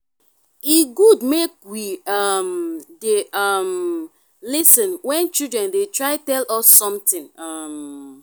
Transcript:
e good make we um dey um lis ten when children dey try tell us something um